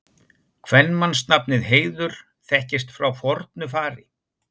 Kvenmannsnafnið Heiður þekkist frá fornu fari.